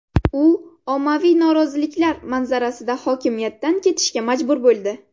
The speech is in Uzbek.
U ommaviy noroziliklar manzarasida hokimiyatdan ketishga majbur bo‘ldi.